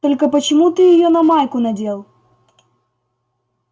только почему ты её на майку надел